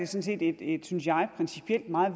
set et synes jeg principielt meget